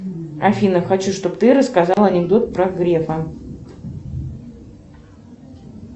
афина хочу чтобы ты рассказала анекдот про грефа